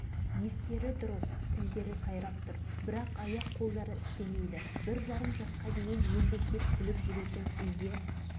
бір балам он төрт жасында бір балам екі жасында сал болып жүре алмай үйде отырып қалды